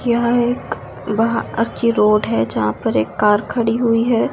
यहां एक बाहर रोड है यहां पे एक कार खड़ी हुई है।